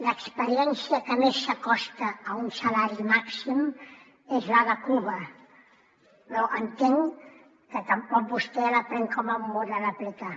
l’experiència que més s’acosta a un salari màxim és la de cuba però entenc que tampoc vostè la pren com un model a aplicar